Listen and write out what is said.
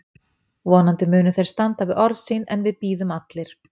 Vonandi munu þeir standa við orð sín en við bíðum allir.